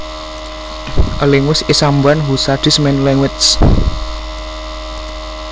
A linguist is someone who studies many languages